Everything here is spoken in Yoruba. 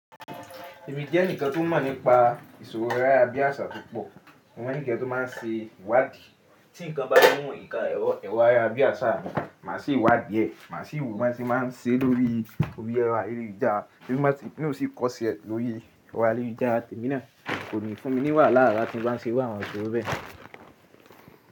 Èmi jẹ́ ẹnìkan tó mọ̀ nípa ìṣòro ara bí àṣà púpọ̀. Mo ní ǹkan tó má ń ṣe ìwádìí. Tí ǹkan bá mu nkàn ẹrọ ayara bí àṣà mii, màá ṣe ìwádìí ẹ̀. Màá sì wò bi wọn ṣe má a se lórí ẹrọ ayélujára, émi na ó sì kọ́ṣẹ́ ẹ́ lórí ẹrọ̀ ayélujára. Èmi náà kò ní fún mi ní wàhálà ara tí mo bá ń se iru àwọn ìṣòro bẹ́ẹ̀.